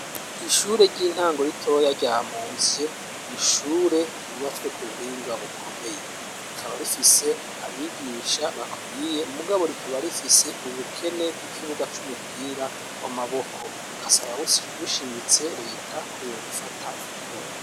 Ishure ry'intango ritoya rya Muzye. Ni ishure ryubatswe ku buhinga bukomeye rikaba rifise abigisha bakwiye mugabo rikaba rifise ubukene bw'ikibuga c'umupira w'amaboko, bugasaba bushimitse leta ko yobufata mu mugongo.